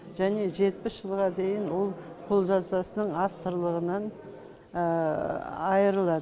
және жетпіс жылға дейін ол қолжазбасының авторлығынан айырылады